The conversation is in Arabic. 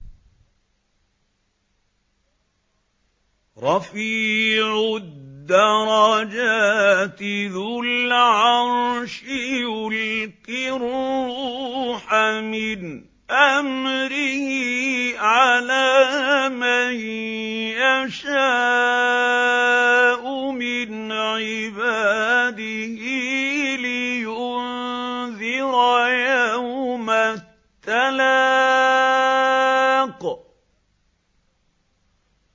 رَفِيعُ الدَّرَجَاتِ ذُو الْعَرْشِ يُلْقِي الرُّوحَ مِنْ أَمْرِهِ عَلَىٰ مَن يَشَاءُ مِنْ عِبَادِهِ لِيُنذِرَ يَوْمَ التَّلَاقِ